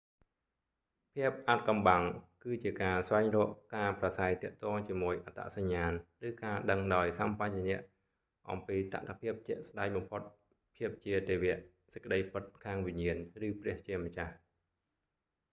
ភាពអាថ៌កំបាំង គឺជាការស្វែងរកការប្រាស្រ័យទាក់ទងជាមួយអត្តសញ្ញាណ ឬការដឹងដោយសម្បជញ្ញៈអំពីតថភាពជាក់ស្តែងបំផុត ភាពជាទេវ សេចក្តីពិតខាងវិញ្ញាណ ឬព្រះជាម្ចាស់